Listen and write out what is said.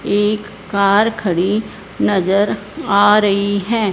एक कार खड़ी नजर आ रही हैं।